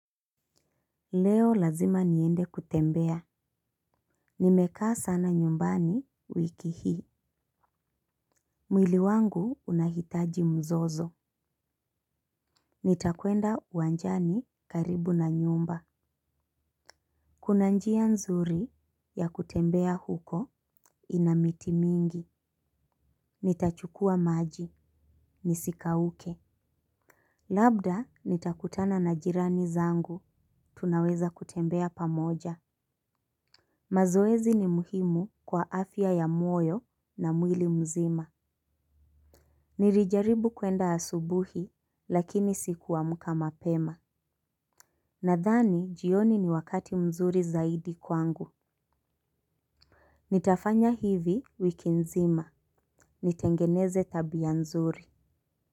Leo lazima niende kutembea. Nimekaa sana nyumbani wiki hii. Mwili wangu unahitaji mzozo. Nitakwenda uwanjani karibu na nyumba. Kuna njia nzuri ya kutembea huko ina miti mingi. Nitachukua maji nisikauke. Labda nitakutana na jirani zangu tunaweza kutembea pamoja. Mazoezi ni muhimu kwa afya ya mwoyo na mwili mzima. Nirijaribu kuenda asubuhi lakini sikuamka mapema. Nadhani jioni ni wakati mzuri zaidi kwangu. Nitafanya hivi wiki nzima, nitengeneze tabia nzuri.